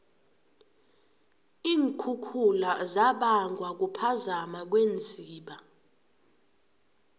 iinkhukhula zibangwa kuphakama kweenziba